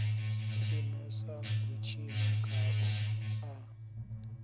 simesa u tshina khao a